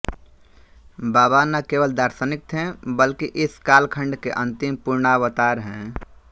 बाबा न केवल दार्शनिक थे बल्कि इस काल खंड के अंतिम पूर्णावतार हैं